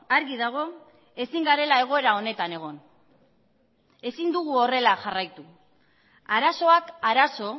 argi dago ezin garela egoera honetan egon ezin dugula horrela jarraitu arazoak arazo